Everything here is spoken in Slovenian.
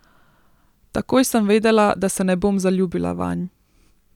Takoj sem vedela, da se ne bom zaljubila vanj.